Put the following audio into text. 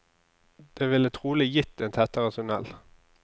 Det ville trolig gitt en tettere tunnel.